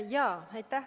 Aitäh!